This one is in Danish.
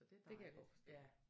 Det kan jeg godt forstå